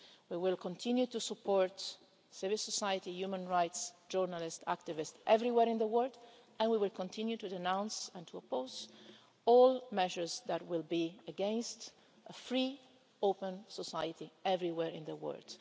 We will continue to support civil society, human rights, journalists and activists everywhere in the world, and we will continue to denounce and to oppose all measures against a free, open society everywhere in the world.